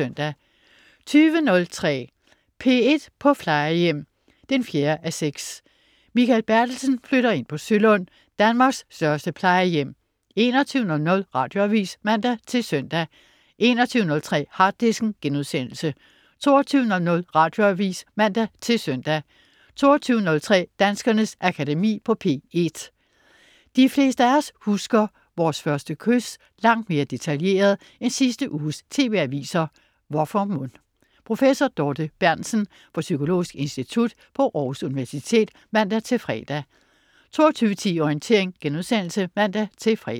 20.03 P1 på Plejehjem 4:6. Mikael Bertelsen flytter ind på Sølund, Danmarks største plejehjem 21.00 Radioavis (man-søn) 21.03 Harddisken* 22.00 Radioavis (man-søn) 22.03 Danskernes Akademi på P1. De fleste af os husker vores første kys langt mere detaljeret end sidste uges TV-aviser. Hvorfor mon? Professor Dorthe Berntsen, fra Psykologisk Institut på Aarhus Universitet (man-fre) 22.10 Orientering* (man-fre)